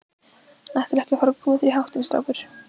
Ætlarðu ekki að fara að koma þér í háttinn, strákur?